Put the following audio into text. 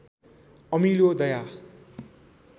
अमिलो दया